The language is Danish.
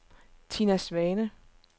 Tina Svane